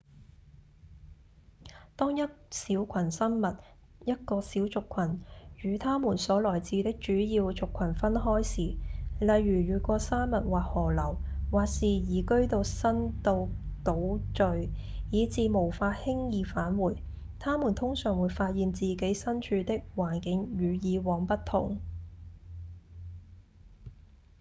當一小群生物一個小族群與他們所來自的主要族群分開時例如越過山脈或河流或是移居到新到島嶼以致無法輕易返回他們通常會發現自己身處的環境與以往不同